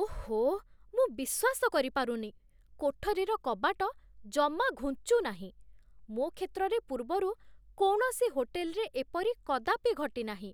ଓଃ, ମୁଁ ବିଶ୍ୱାସ କରିପାରୁନି, କୋଠରୀର କବାଟ ଜମା ଘୁଞ୍ଚୁନାହିଁ! ମୋ କ୍ଷେତ୍ରରେ ପୂର୍ବରୁ କୌଣସି ହୋଟେଲ୍‌ରେ ଏପରି କଦାପି ଘଟିନାହିଁ।